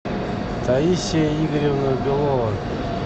таисия игоревна белова